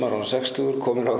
orðinn sextugur kominn á